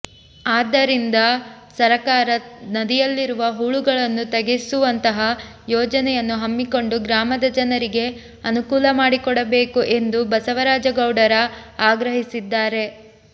ಆದರಿಂದ ಸರಕಾರ ನದಿಯಲ್ಲಿರುವ ಹೂಳನ್ನು ತಗೆಯಿಸುವಂತಹ ಯೋಜನೆಯನ್ನು ಹಮ್ಮಿಕೊಂಡು ಗ್ರಾಮದ ಜನರಿಗೆ ಅನುಕೂಲ ಮಾಡಿಕೊಡಬೇಕು ಎಂದು ಬಸವರಾಜ ಗೌಡರ ಆಗ್ರಹಿಸಿದ್ದಾರೆ